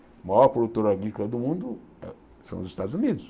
O maior produtor agrícola do mundo ah são os Estados Unidos.